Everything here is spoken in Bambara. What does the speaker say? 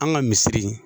An ka misiri